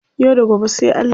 Yau da gobe sai Allah.